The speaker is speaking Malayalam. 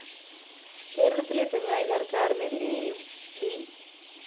കേരളത്തിലെ പിണറായി സര്‍ക്കാരിനെതിരെയും വി